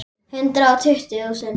Hundrað og tuttugu þúsund.